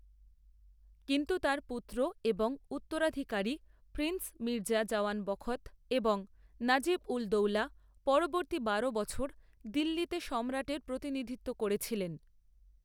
কিন্তু তার পুত্র এবং উত্তরাধিকারী প্রিন্স মির্জা জওয়ান বখত এবং নাজিব উল দৌলা পরবর্তী বারো বছর দিল্লিতে সম্রাটের প্রতিনিধিত্ব করেছিলেন।